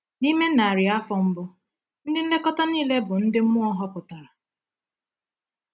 N’ime narị afọ mbụ, ndị nlekọta niile bụ ndị mmụọ họpụtara.